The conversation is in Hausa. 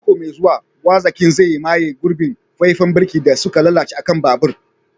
A mako mai zuwa, gwazakin zai maye gurbin faifan birki da suka lalace a kan babur.